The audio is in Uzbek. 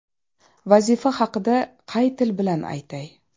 Vazifa haqida qay til bilan aytay?